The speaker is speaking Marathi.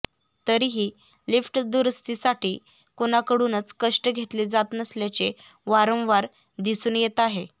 तरीही लिफ्ट दुरूस्तीसाठी कुणाकडूनच कष्ट घेतले जात नसल्याचे वारंवार दिसून येत आहे